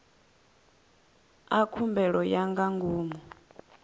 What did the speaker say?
a khumbelo ya nga ngomu